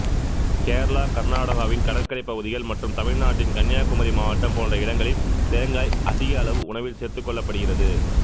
கேரளா கர்நாடகாவின் கடற்கறைப் பகுதிகள் மற்றும் தமிழ்நாட்டின் கன்னியாகுமரி மாவட்டம் போன்ற இடங்களில் தேங்காய் அதிக அளவு உணவில் சேர்த்துக்கொள்ளப்படுகிறது